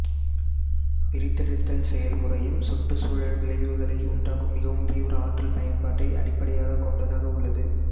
பிரித்தெடுத்தல் செயல்முறையும் சுற்றுச்சூழல் விளைவுகளை உண்டாக்கும் மிகவும் தீவிர ஆற்றல் பயன்பாட்டை அடிப்படையாகக் கொண்டதாக உள்ளது